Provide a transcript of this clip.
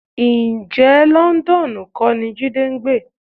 Ǹjẹ́ Lọ́ńdọ́ọ̀nù kọ́ ni Jídé ń gbé?